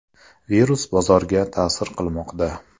Virus bozorga ta’sir qilmoqda.